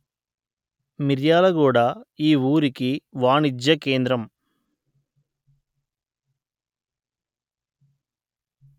మిర్యాలగూడ ఈ ఊరికి వాణిజ్య కేంద్రం